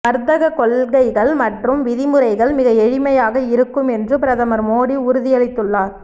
வர்த்தக கொள்கைகள் மற்றும் விதிமுறைகள் மிக எளிமையாக இருக்கும் என்று பிரதமர் மோடி உறுதியளித்துள்ளார்